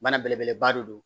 Bana belebeleba de don